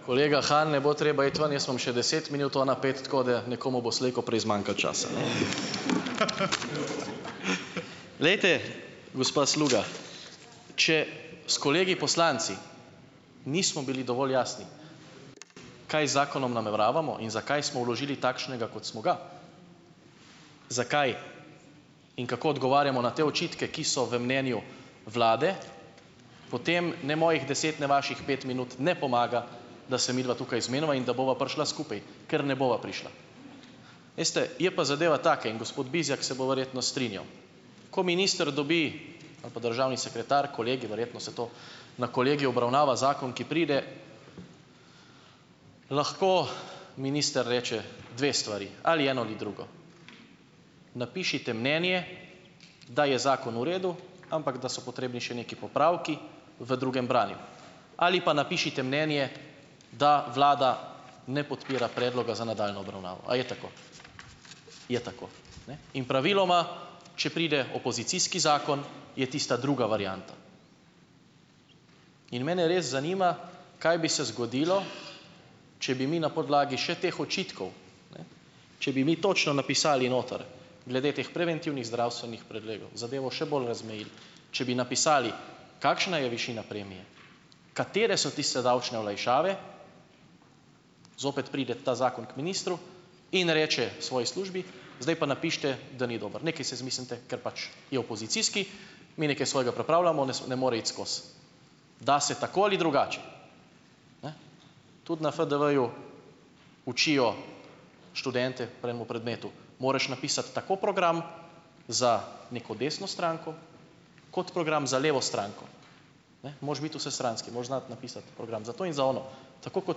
Kolega Han, ne bo treba iti ven, jaz imam še deset minut, ona pet, tako da nekomu bo slejkoprej zmanjkalo časa. Glejte, gospa Sluga. Če s kolegi poslanci nismo bili dovolj jasni, kaj zakonom nameravamo in zakaj smo vložili takšnega, kot smo ga, zakaj in kako odgovarjamo na te očitke, ki so v mnenju vlade, potem ne mojih deset ne vaših pet minut ne pomaga, da se midva tukaj zmeniva in da bova prišla skupaj, ker ne bova prišla. Veste, je pa zadeva taka in gospod Bizjak se bo verjetno strinjal. Ko minister dobi ali pa državni sekretar, kolegij, verjetno se to na kolegiju obravnava zakon, ki pride, lahko minister reče dve stvari, ali eno ali drugo. Napišite mnenje, da je zakon v redu, ampak da so potrebni še neki popravki v drugem branju, ali pa napišite mnenje, da vlada ne podpira predloga za nadaljnjo obravnavo. A je tako? Je tako, ne? In praviloma, če pride opozicijski zakon, je tista druga varianta. In mene res zanima, kaj bi se zgodilo, če bi mi na podlagi še teh očitkov, ne, če bi mi točno napisali noter glede teh preventivnih zdravstvenih pregledov, zadevo še bolj razmejili, če bi napisali, kakšna je višina premije, katere so tiste davčne olajšave, zopet pride ta zakon k ministru in reče svoji službi: "Zdaj pa napišite, da ni dober, nekaj se izmislite, ker pač je opozicijski, mi nekaj svojega pripravljamo, danes ne more iti skozi." Da se tako ali drugače. Tudi na FDV-ju učijo študente pri enemu predmetu, moraš napisati tak program za neko desno stranko kot program za levo stranko, ne, moraš biti vsestranski, moraš znati napisati program za to in za ono. Tako kot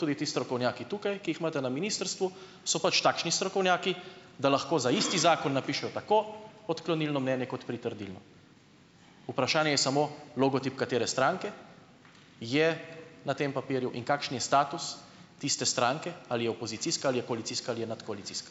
tudi ti strokovnjaki tukaj, ki jih imate na ministrstvu, so pač takšni strokovnjaki, da lahko za isti zakon napišejo tako odklonilno mnenje kot pritrdilno. Vprašanje je samo, logotip katere stranke je na tem papirju in kakšen je status tiste stranke, ali je opozicijska ali je koalicijska ali je nadkoalicijska.